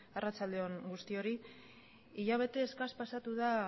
arratsalde on guztioi hilabete eskas pasatu da